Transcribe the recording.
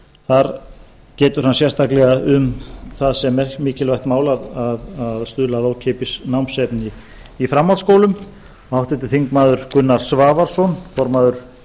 þar getur hann sérstaklega um það sem mikilvægt mál að stuðla að ókeypis námsefni í framhaldsskólum háttvirtir þingmenn gunnar svavarsson formaður